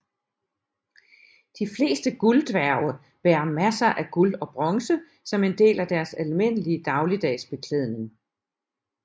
De fleste gulddværge bærer masser af guld og bronze som en del af deres almindelige dagligdags beklædning